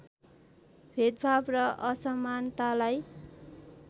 भेदभाव र असमानतालाई